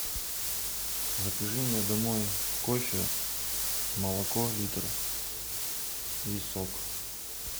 закажи мне домой кофе молоко литр и сок